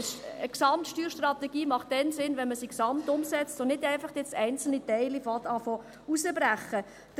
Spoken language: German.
Eine Gesamtsteuerstrategie macht dann Sinn, wenn man sie im Gesamten umsetzt und jetzt nicht einfach einzelne Teile herauszubrechen beginnt.